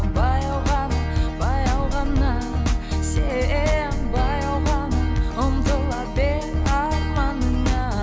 баяу ғана баяу ғана сен баяу ғана ұмтыла бер арманыңа